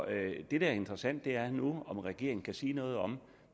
det der er interessant er nu om regeringen kan sige noget om